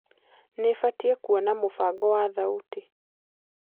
nibatie kũona mubango wa thaũtĩ